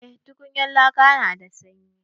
Eh tukunyar laka na da sanyi.